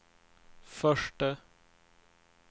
förste